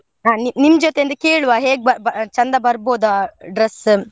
ಹಾ ನಿ~ನಿಮ್ ಜೊತೆ ಒಂದು ಕೇಳ್ವ ಹೇಗೆ ಬಾ~ ಬಾ~ ಚೆಂದ ಬರ್ಬೊದ dress .